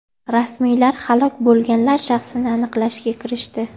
Rasmiylar halok bo‘lganlar shaxsini aniqlashga kirishdi.